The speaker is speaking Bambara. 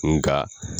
Nga